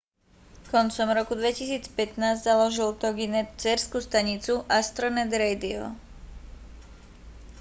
koncom roku 2015 založil toginet dcérsku stanicu astronet radio